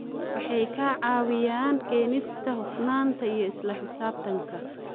Waxay ka caawiyaan keenista hufnaanta iyo isla xisaabtanka.